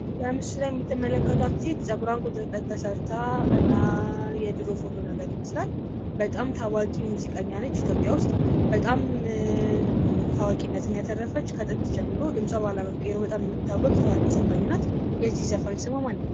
በምስሉ ላይ የምትመለከቱት ሴት ፀጉራን ቁጥርጥር ተሰርታ እና የድሮ ፎቶ ነገር ይመስላል። በጣም ታዋቂ ሙዚቀኛ ነች። ኢትዮጵያ ውስጥ በጣም ታዋቂነትን ያተርፈች ከጥንት ጀምሮ ድምፃ ባለመቀየሩ በጣም የምትታወቅ ታዋቂ ዘፋኝ ናት። የዚህ ዘፋኝ ስሟ ማ ይባላል?